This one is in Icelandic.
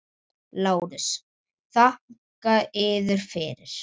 LÁRUS: Þakka yður fyrir!